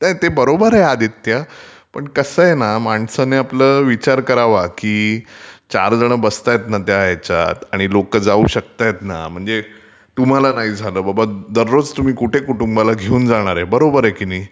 ते बरोबर आहे आदित्य, पण कसं आहे ना माणसानी आपलं विचार करावा की चार जण बसतायत ना त्या ह्यच्यात आणि लोकं जाऊ शकतायतं ना म्हणजे तुम्हाला नाही झालं बाबा रोज तुम्ही कुठे कुटूंबाला घेऊन जाणारे ...बरोबर आहे की नाही.